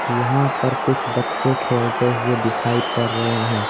यहाँ पर कुछ बच्चे खेलते हुए दिखाई पर रहे हैं।